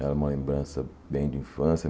Era uma lembrança bem de infância.